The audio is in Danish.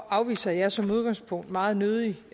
afviser jeg som udgangspunkt meget nødig